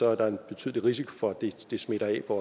er der en betydelig risiko for at det smitter af på